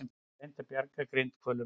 Reynt að bjarga grindhvölum